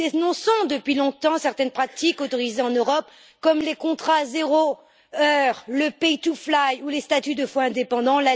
Nous dénonçons depuis longtemps certaines pratiques autorisées en Europe, comme les contrats zéro heure, le pay to fly ou les statuts de faux indépendants.